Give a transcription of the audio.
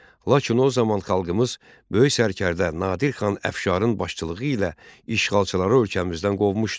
Lakin o zaman xalqımız böyük sərkərdə Nadir xan Əfşarın başçılığı ilə işğalçıları ölkəmizdən qovmuşdu.